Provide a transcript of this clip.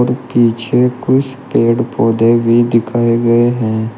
पीछे कुछ पेड़ पौधे भी दिखाए गए हैं।